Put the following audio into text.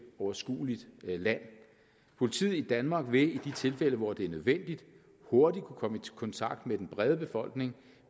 overskueligt land politiet i danmark vil i de tilfælde hvor det er nødvendigt hurtigt kunne komme i kontakt med den brede befolkning